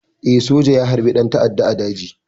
Eh, soja ya harbi ɗan ta'adda a daji.